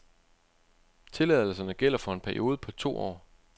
Tilladelserne gælder for en periode på to år.